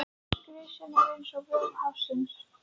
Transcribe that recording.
Gresjan var eins og vofa hafsins.